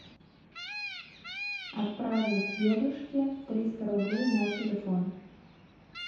отправить дедушке триста рублей на телефон